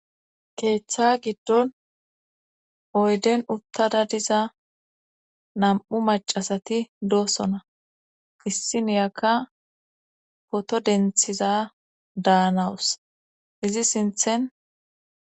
keeththa giddon oyden uttada diza nam'u macasati doosona issiniyakka poto denthiza daanawus izi sinthen